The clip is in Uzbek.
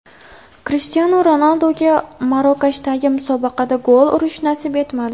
Krishtianu Ronalduga Marokashdagi musobaqada gol urish nasib etmadi.